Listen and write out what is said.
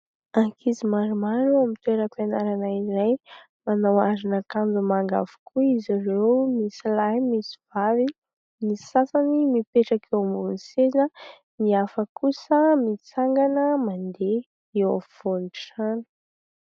Ankizy maromaro amin'ny toeram-pianarana iray, manao aron'akanjo manga avokoa izy ireo, misy lahy misy vavy. Ny sasany mipetraka eo ambonin'ny seza, ny hafa kosa mitsangana mandeha eo afovoan'ny trano.